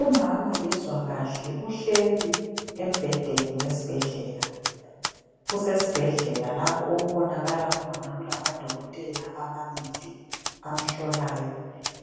Umama kezwa kahle ,uhleli esibhedlela lapho okubonakala khona odokotela ababili abamhlolayo